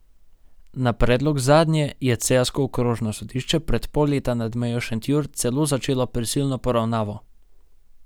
Na predlog zadnje je celjsko okrožno sodišče pred pol leta nad Mejo Šentjur celo začelo prisilno poravnavo.